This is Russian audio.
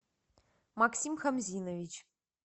максим хамзинович